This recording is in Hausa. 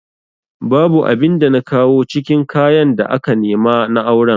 Babu abin da na kawo cikin kayan da aka nema na auren